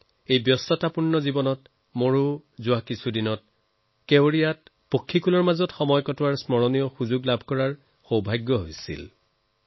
মইও জীৱনৰ ধামখুমীয়া বিগত সময়ত কেৱাড়িয়াত পক্ষীৰ সৈতে সময় কটোৱাৰ স্মৰণীয় সুযোগ পাইছিলো